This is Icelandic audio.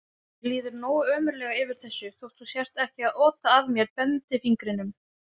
Mér líður nógu ömurlega yfir þessu þótt þú sért ekki að ota að mér bendifingrinum.